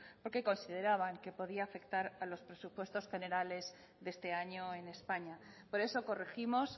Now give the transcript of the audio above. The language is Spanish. porque consideraban que podía afectar a los presupuestos generales de este año en españa por eso corregimos